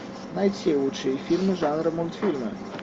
найти лучшие фильмы жанра мультфильмы